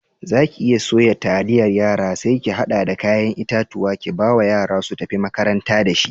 Zaki iya suya taliyar yara sai ki hada da kayan itatuwa kibawa yara su tafi makaranta da shi.